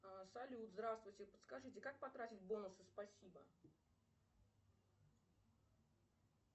салют здравствуйте подскажите как потратить бонусы спасибо